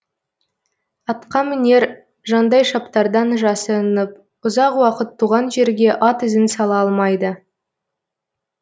атқамінер жандайшаптардан жасырынып ұзақ уақыт туған жерге ат ізін сала алмайды